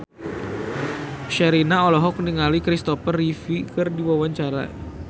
Sherina olohok ningali Kristopher Reeve keur diwawancara